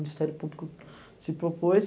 O Ministério Público se propôs.